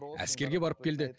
әскерге барып келді